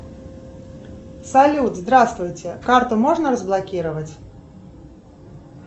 салют здравствуйте карту можно разблокировать